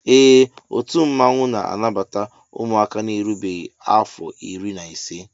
Ee ọtu mmanwụ na-anabata ụmụaka na-erubeghi afọ irí na ise